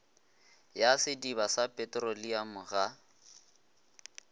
ya sediba sa petroleamo ga